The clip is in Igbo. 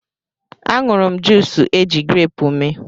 A ṅụrụ m juus eji greepụ mee.